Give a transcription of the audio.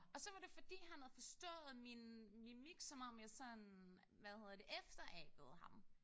Og var det fordi han havde forstået min mimik som om jeg sådan hvad hedder det efterabede ham